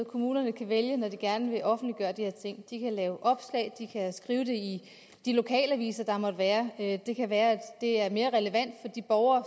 kommunerne kan vælge når de gerne vil offentliggøre de her ting de kan lave opslag de kan skrive det i de lokalaviser der måtte være i kommunen og det kan være at det er mere relevant for de borgere